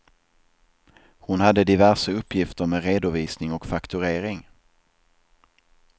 Hon hade diverse uppgifter med redovisning och fakturering.